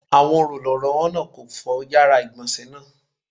Awọn olùrànlọ́wọ́ náà kò fọ yàrá ìgbọ̀nsé náà.